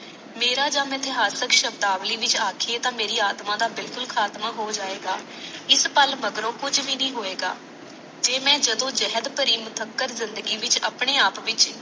ਮਾਰਾ ਯਹ ਇਤਿਹਾਸਕ ਸ਼ਬਦਾਵਲੀ ਵਿਚ ਆਖੀਏ ਤਾ ਮਾਰੀ ਆਤਮਾਹ ਦਾ ਬਿਲਕੁਲ ਖਾਤਮਾ ਹੋ ਜਾਵੇਗਾ ਇਸ ਪਾਲ ਮਗਰੋਂ ਕੁਛ ਵੀ ਨਹ ਹੋਵੇਗਾ